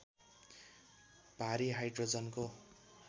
भारी हाइड्रोजनको